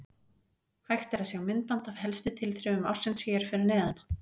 Hægt er að sjá myndband af helstu tilþrifum ársins hér fyrir neðan.